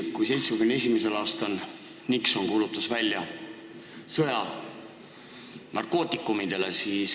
1971. aastal kuulutas Nixon välja sõja narkootikumidele.